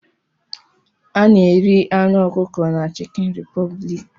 A na-eri anụ ọkụkọ na chicken republic